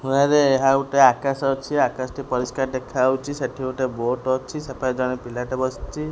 ଗୋଟେ ଆକାଶ ଅଛି ଆକାଶଟି ପରିଷ୍କାର ଦେଖାଯାଉଛି ସେଠି ଗୋଟେ ବୋଟ ଅଛି ସେପାଖେ ଜଣେ ପିଲାଟେ ବସିଛି।